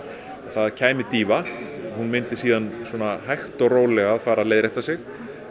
það kæmi dýfa hún myndi síðan hægt og rólega leiðrétta sig